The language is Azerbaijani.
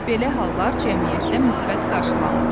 Belə hallar cəmiyyətdə müsbət qarşılanmır.